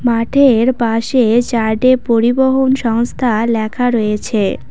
মাঠের পাশে চার্টে পরিবহন সংস্থা ল্যাখা রয়েছে।